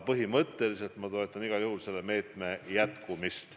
Põhimõtteliselt ma aga toetan igal juhul selle meetme jätkamist.